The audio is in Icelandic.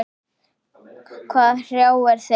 Hvað hrjáir þig?